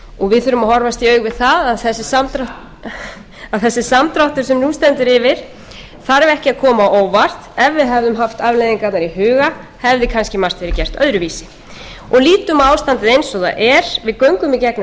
við þurfum að horfast í augu við það að þessi samdráttur sem nú stendur yfir þarf ekki að koma á óvart ef við hefðum haft afleiðingarnar í huga hefði kannski margt verið gert öðruvísi lítum á ástandið eins og það er við göngum í gegnum